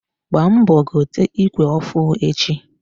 Gbaa mbọ gote ikwe ọfụ echi!